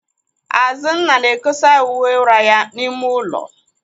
Azụnna na-ekosa uwe ụra ya n'ime ụlọ.